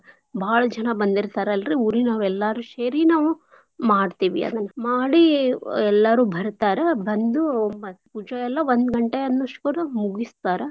ಭಾಳ್ ಜನಾ ಬಂದಿರ್ತಾರಲ್ರಿ ಊರೀನೋರ್ ಎಲ್ಲಾರೂ ಶೇರಿ ನಾವು ಮಾಡ್ತೇವಿ ಅದನ್. ಮಾಡೀ ಎಲ್ಲಾರೂ ಬರ್ತಾರ ಬಂದೂ ಮತ್ ಪೂಜಾಯೆಲ್ಲಾ ಒಂದ್ ಗಂಟೆ ಅನೋಷ್ಟಗರ ಮುಗುಸ್ತಾರ.